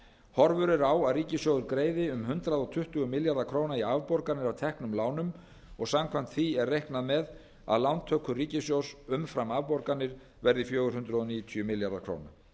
horfur eru á að ríkissjóður greiði um hundrað tuttugu milljarða króna í afborganir af teknum lánum og samkvæmt því er reiknað með lántökur ríkissjóðs umfram afborganir verði fjögur hundruð níutíu milljarðar króna